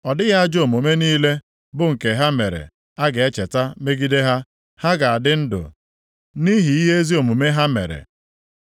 Ọ dịghị ajọ omume niile bụ nke ha mere a ga-echeta megide ha. Ha ga-adị ndụ nʼihi ihe ezi omume ha mere.